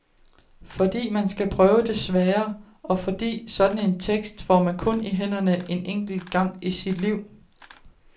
Fordi man skal prøve det svære, og fordi sådan en tekst får man kun i hænderne en enkelt gang i sit liv.